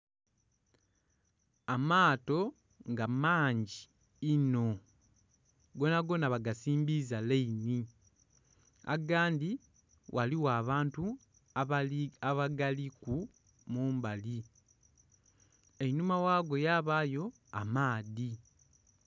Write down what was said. Amaato nga mangi inho, gonagona bagasimbiza lainhi agandhi ghaligho abantu abagaliku mumbali einhuma ghago yabayo amaadhi.